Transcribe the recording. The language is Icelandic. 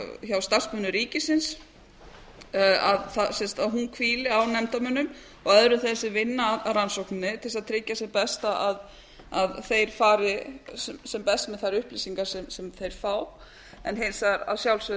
hjá starfsmönnum ríkisins að hún hvíli á nefndarmönnum og öðrum þeim sem vinna að rannsókninni til þess að tryggja sem best að þeir fari sem best með þær upplýsingar sem þeir fá en hins vegar að sjálfsögðu